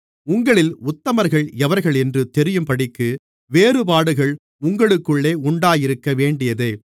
உங்களில் உத்தமர்கள் எவர்களென்று தெரியும்படிக்கு வேறுபாடுகள் உங்களுக்குள்ளே உண்டாயிருக்கவேண்டியதே